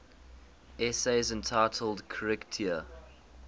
essays entitled kritika